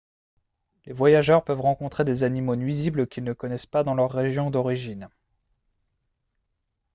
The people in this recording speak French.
les voyageurs peuvent rencontrer des animaux nuisibles qu'ils ne connaissent pas dans leur région d'origine